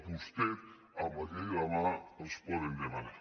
vostès amb la llei a la mà els poden demanar